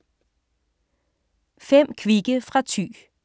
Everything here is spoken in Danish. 5 kvikke fra Thy